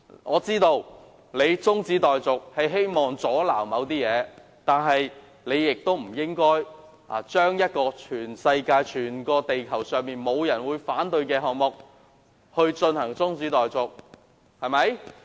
我知道他提出中止待續議案是想阻撓某些事，但他不應該對全世界、全地球上沒有人會反對的項目提出中止待續議案。